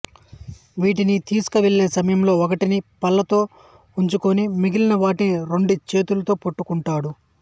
వీటిని తీసుకువెళ్లే సమయంలో ఒకటిని పళ్లతో ఉంచుకొని మిగిలిన వాటిని రెండు చేతులతో పట్టుకుంటాడు